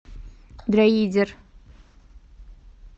дроидер